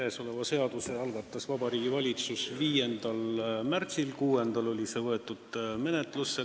Käesoleva seaduseelnõu algatas Vabariigi Valitsus 5. märtsil, 6. märtsil võeti see menetlusse.